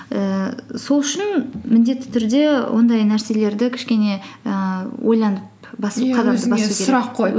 ііі сол үшін міндетті түрде ондай нәрселерді кішкене ііі ойланып